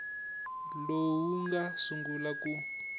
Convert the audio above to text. lowu wu nga sungula ku